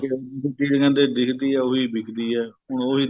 ਹਮ ਕਹਿੰਦੇ ਦਿਖਦੀ ਏ ਵਿਕਦੀ ਏ ਹੁਣ ਉਹੀ